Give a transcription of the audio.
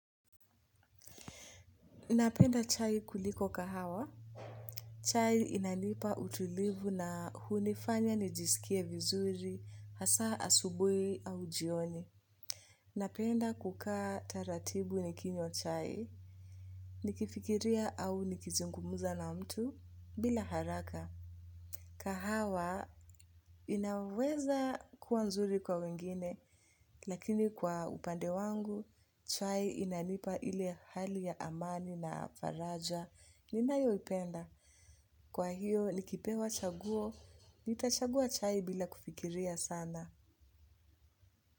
Napenda chai kuliko kahawa. Chai inanipa utulivu na hunifanya nijisikie vizuri, hasa asubuhi au jioni. Napenda kukaa taratibu nikinywa chai. Nikifikiria au nikizungumuza na mtu bila haraka. Kahawa inaweza kuwa nzuri kwa wengine lakini kwa upande wangu chai inanipa ili hali ya amani na faraja. Ni nayo ipenda. Kwa hiyo likipewa chaguo. Nitachagua chai bila kufikiria sana.